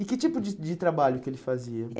E que tipo de de trabalho que ele fazia? eh